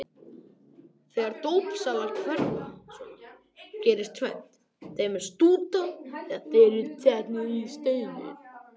Þegar dópsalar hverfa svona gerist tvennt: Þeim er stútað eða þeir eru handteknir.